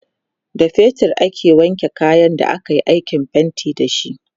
da fetir aka wanke kayan da akayi aikin fainti da shi